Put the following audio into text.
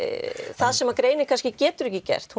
það sem greinin getur ekki gert